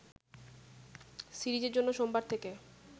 সিরিজের জন্য সোমবার থেকে